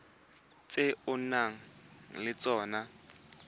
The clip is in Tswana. tse o nang le tsona